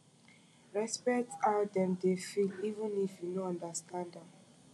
respekt how dem dey feel even if yu no understand am